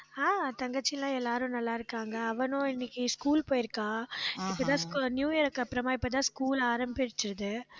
ஆஹ் தங்கச்சி எல்லாம் எல்லாரும் நல்லா இருக்காங்க அவனும் இன்னைக்கு school போயிருக்கா. இப்பதான் scho~ நியூ இயர்க்கு அப்புறமா, இப்பதான் school ஆரம்பிச்சது.